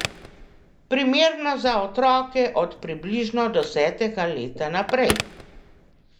Primerno za otroke od približno desetega leta naprej.